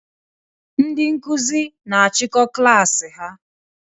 Ndị Nkụzi na achiko klass ha